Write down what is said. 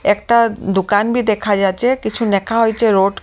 একটা-আ দোকান ভি দেখা যাচ্ছে কিছু নেখা হইছে রোড --